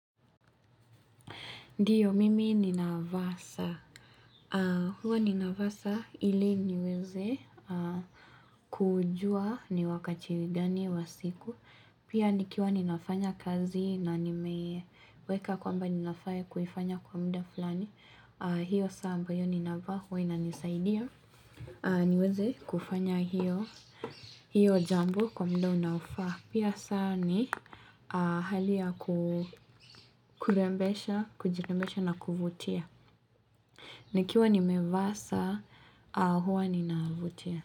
Ndiyo, mimi ninavaa saa. Huwa ninavaa saa ili niweze kujua ni wakati gani wa siku. Pia nikiwa ninafanya kazi na nimeweka kwamba ninafaa kufanya kwa muda fulani. Hio saa ambayo ninavaa huwa inanisaidia. Niweze kufanya hio jambo kwa muda unaofaa. Pia saa ni hali ya kurembesha, kujirembesha na kuvutia. Nikiwa nimevaa saa huwa nina vutia.